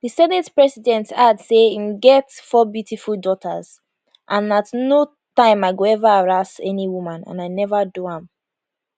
di senate president add say im get four beautiful daughters and at no time i go ever haraas any woman and i neva do am